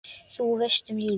Þú veist, um lífið?